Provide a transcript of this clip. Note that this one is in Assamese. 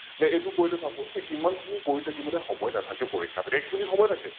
নে এইতো কৰিলে , এইমান খিনি কৰি থাকিবলৈ সময় নাথাকে পৰীক্ষাত এক Minute সময় থাকে ।